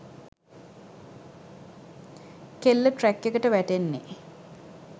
කෙල්ල ට්‍රැක්එකට වැටෙන්නෙ.